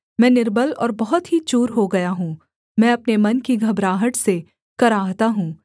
मैं निर्बल और बहुत ही चूर हो गया हूँ मैं अपने मन की घबराहट से कराहता हूँ